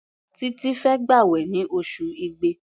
Títí fẹ́ gbàwẹ̀ ní oṣù Igbe.